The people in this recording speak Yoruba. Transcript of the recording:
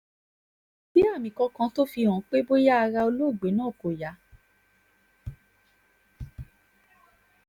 kò sì sí àmì kankan tó fi hàn pé bóyá ara olóògbé náà kò yá